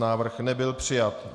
Návrh nebyl přijat.